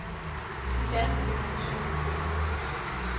De færreste fik nogen søvn på turen.